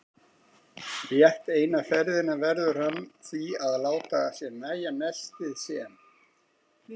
Rétt eina ferðina verður hann því að láta sér nægja nestið sem